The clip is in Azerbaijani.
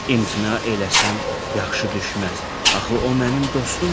İmtina eləsəm yaxşı düşməz, axı o mənim dostumdur.